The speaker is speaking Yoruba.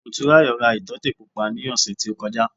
Motúnráyò ra ìtọ́tè pupa náà ní ọ̀sẹ̀ tí ó kọjá